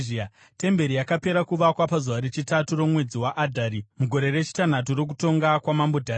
Temberi yakapera kuvakwa pazuva rechitatu romwedzi waAdhari, mugore rechitanhatu rokutonga kwamambo Dhariasi.